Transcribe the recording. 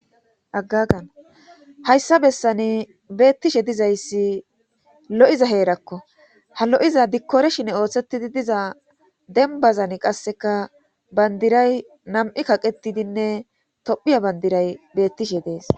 aggagana hayssa bessani beettishe dizayssi lo7iza heerakko ha lo7iza dikkore shine ooththettidi diza dembazan qasseka bandiray nam7i kaqetidinne tophiya bandiray beettishe dees